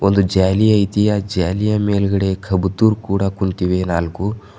ಒಂದು ಜಾಲಿ ಐತಿ ಆ ಜಾಲಿಯ ಮೇಲ್ಗಡೆ ಕಬೂತರ್ ಕೂಡ ಕೂತಿವೆ ನಾಲ್ಕು.